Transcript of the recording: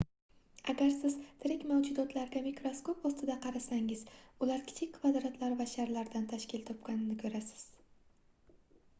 agar siz tirik mavjudotlarga mikroskop ostida qarasangiz ular kichik kvadratlar va sharlardan tashkil topganligini koʻrasiz